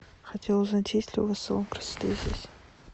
хотела узнать есть ли у вас салон красоты здесь